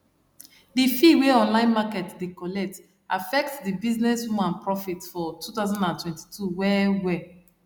the fee wey online market dey collect affect the businesswoman profit for two thousand and twenty two wellwell